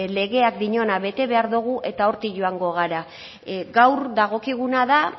legeak diona bete behar dugu eta hortik joango gara gaur dagokiguna da